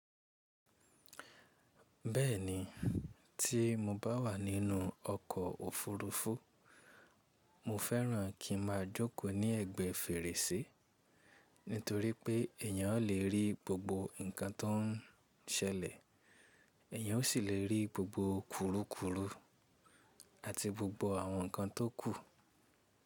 Bẹ́ẹ̀ni, tí mo bá wà nínú ọkọ̀ òfurufú, mo fẹ́ràn kí n máa jókòó ní ẹ̀gbẹ́ fèrèsé nítorí pé eèyàn lè rí gbogbo ǹkan tọ́ ń ṣẹlẹ̀, èeyàn ó sì lè rí gbogbo kurukuru àti gbogbo àwọn ǹkan tó kù.